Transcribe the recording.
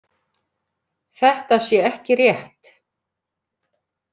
Þetta sé ekki rétt